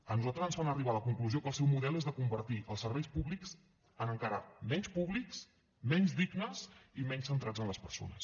a nosaltres ens fan arribar a la conclusió que el seu model és el de convertir els serveis públics en encara menys públics menys dignes i menys centrats en les persones